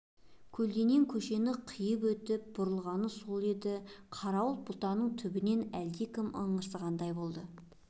көлденең көшені қиып өтіп бұрылғаны сол еді қарауытқан бұтаның түбінен әлдекім ыңырсығандай болды